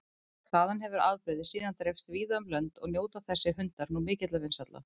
Þaðan hefur afbrigðið síðan dreifst víða um lönd og njóta þessir hundar nú mikilla vinsælda.